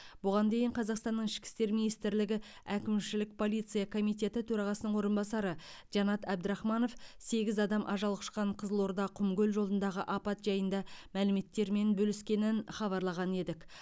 бұған дейін қазақстанның ішкі істер министрлігі әкімшілік полиция комитеті төрағасының орынбасары жанат әбдірахманов сегіз адам ажал құшқан қызылорда құмкөл жолындағы апат жайында мәліметтермен бөліскенін хабарлаған едік